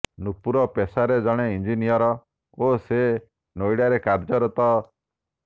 ନୁପୁର ପେଶାରେ ଜଣେ ଇଞ୍ଜିନିୟର ଓ ସେ ନୋଇଡାରେ କାର୍ଯ୍ୟରତ